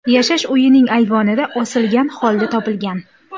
yashash uyining ayvonida osilgan holda topilgan.